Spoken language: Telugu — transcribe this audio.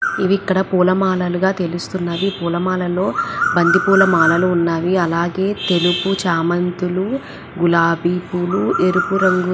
ఇవి ఇక్కడ పూల మాలలుగా తెలుస్తున్నవి పూల మాలలో బంతి పూల మాల ఉన్వి అలాగే తెలుపు చేమంతులు గులాబీ పూలు ఎరుపు రంగు --